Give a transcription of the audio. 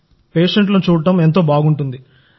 పేషెంట్లను చూడడం బాగుంటుంది